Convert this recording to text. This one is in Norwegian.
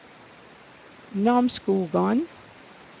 Namsskogan